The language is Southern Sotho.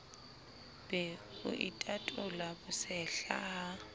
be o itatola bosehla ha